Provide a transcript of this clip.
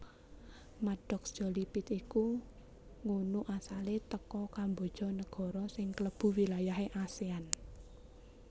Maddox Jolie Pitt iki ngunu asale teko Kamboja negoro sing klebu wilayahe Asean